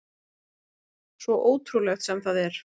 Svo ótrúlegt sem það er.